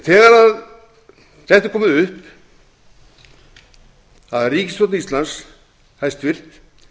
þegar þetta er komið upp að ríkisstjórn íslands hæstvirtur